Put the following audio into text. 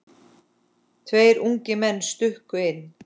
Tveir ungir menn stukku inn.